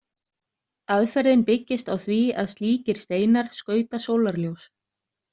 Aðferðin byggist á því að slíkir steinar skauta sólarljós.